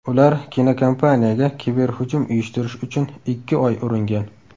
Ular kinokompaniyaga kiberhujum uyushtirish uchun ikki oy uringan.